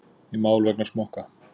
Í mál vegna smokka